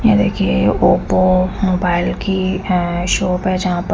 ये देखिये Oppo mobile की है शॉप है जहा पर--